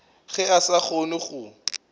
ge a sa kgone go